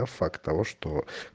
факт того что